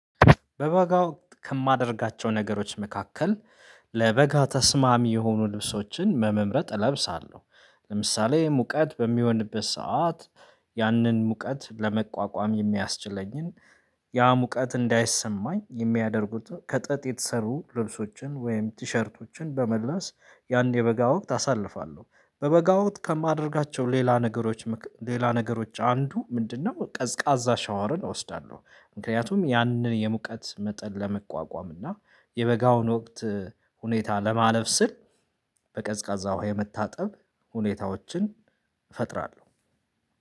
በበጋው ወቅት ከማደርጋቸው ነገሮች መካከል ለበጋ ተስማሚ የሆኑ ልብሶችን በመምረጥ እለብሳለሁ፤ ለምሳሌ ሙቀት በሚሆንበት ሰዓት ያንን ሙቀት ለመቋቋም የሚያስችለኝን ያ ሙቀት እንዳይሰማኝ የሚያደርጉት ከጠጥ የተሰሩ ልብሶችን ወይም ቲሸርቶችን በመለስ ያን የበጋ ወቅት አሳልፋለሁ። በበጋ ወቅት ከማደርጋቸው ሌላ ነገሮች ሌላ ነገሮች አንዱ ምንድነው ቀዝቃዛ ሻወርን እወስዳለሁ ምክንያቱም ያንን የሙቀት መጠን ለመቋቋም እና የበጋውን ወቅት ሁኔታ ለማለፍ ስል በቀዝቃዛው የመታጠብ ሁኔታዎችን እፈጥራለሁ።